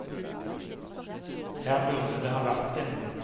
Her burde det vært en bro.